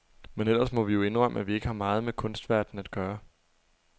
Men ellers må vi jo indrømme, at vi ikke har meget med kunstverdenen at gøre.